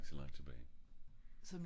bare ik så langt tilbage